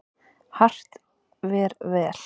Hart ver vel.